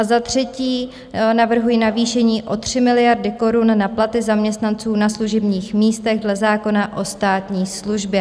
A za třetí navrhuji navýšení o 3 miliardy korun na platy zaměstnanců na služebních místech dle zákona o státní službě.